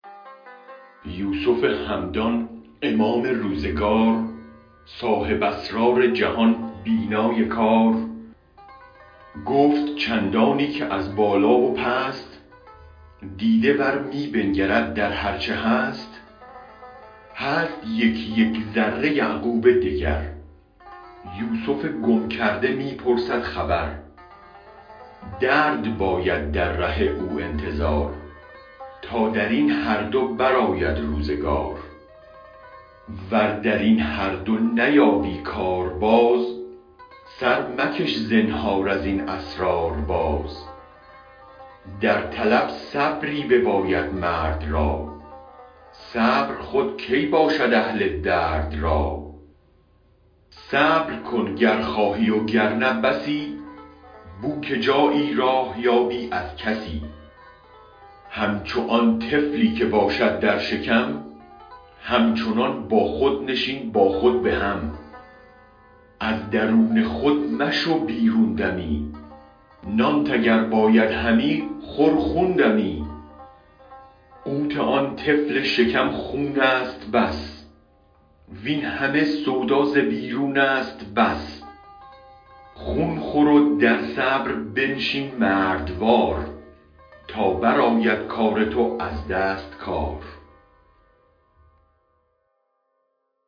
یوسف همدان امام روزگار صاحب اسرار جهان بینای کار گفت چندانی که از بالا و پست دیده ور می بنگرد در هرچ هست هست یک یک ذره یعقوب دگر یوسف گم کرده می پرسد خبر درد باید در ره او انتظار تا درین هر دو برآید روزگار ور درین هر دو نیابی کار باز سر مکش زنهار از این اسرار باز در طلب صبری بباید مرد را صبر خود کی باشد اهل درد را صبر کن گر خواهی وگر نه بسی بوک جایی راه یابی از کسی همچو آن طفلی که باشد در شکم هم چنان با خود نشین با خود به هم از درون خود مشو بیرون دمی نانت اگر باید همی خور خون دمی قوت آن طفل شکم خونست بس وین همه سودا ز بیرونست بس خون خورو در صبر بنشین مردوار تا برآید کار تو از دست کار